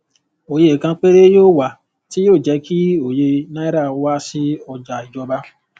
òye kan péré yóò wa tí yóò jẹ kí òye náírà wá sí ọjà ìjọba